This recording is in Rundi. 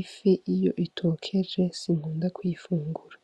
Ifi iyo itokeje sinkunda kuyifungura,